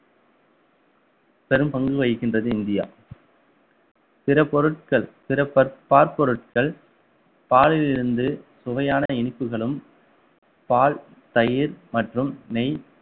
பெரும்பங்கு வகிக்கின்றது இந்தியா பிற பொருட்கள் பிற பால் பொருட்கள் பாலில் இருந்து சுவையான இனிப்புகளும் பால் தயிர் மற்றும் நெய்